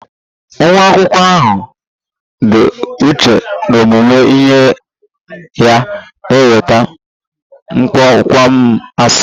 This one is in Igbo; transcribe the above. Nwa akwụkwọ ahụ dị uchu n'ọmụmụ ihe ya na-enweta kpọmkwem A's